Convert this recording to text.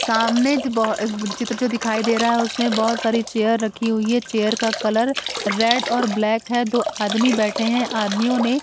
सामने चित्र जो दिखाई दे रहा है उसमें बहोत सारी चेयर रखी हुईं है चेयर का कलर रेड और ब्लैक है दो आदमी बैठे है आदमियों ने--